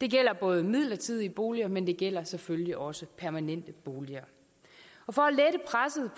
det gælder både midlertidige boliger men det gælder selvfølgelig også permanente boliger